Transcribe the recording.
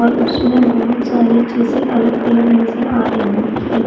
पर उसमे बहुत सारे जैसे अलग अलग नज़र आरहे है।